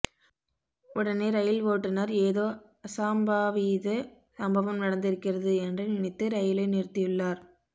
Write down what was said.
உடனே ரயில் ஓட்டுநர் ஏதோ அசாம்பாவித சம்பவம் நடந்திருக்கிறது என்று நினைத்து ரயிலை நிறுத்தியுள்ளார்